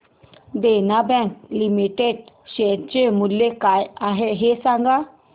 देना bank limited share चे मूल्य काय आहे हे सांगा